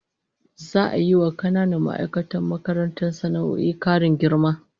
Za'a yi wa kananan ma'aikatan makarantar sana'o'in karin girma